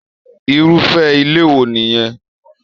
Irufẹ ilé wo nìyẹn?